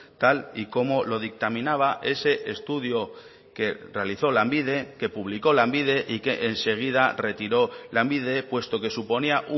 tal y como lo dictaminaba ese estudio que realizó lanbide que publicó lanbide y que enseguida retiró lanbide puesto que suponía